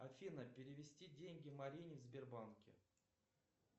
афина перевести деньги марине в сбербанке